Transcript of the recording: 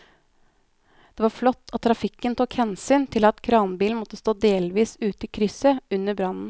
Det var flott at trafikken tok hensyn til at kranbilen måtte stå delvis ute i krysset under brannen.